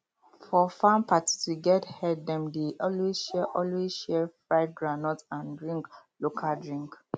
for farm party to get head dem dey always share always share fried groundnut and drink local drink